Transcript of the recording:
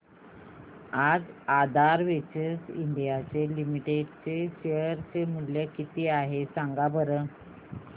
आज Aadhaar Ventures India Limited चे share चे मूल्य किती आहे सांगा बरं